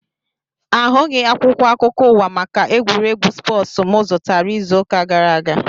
Ahụghị akwụkwọ akụkọ ụwa maka egwuregwu spoosu mụ zụtara izu ụka gara aga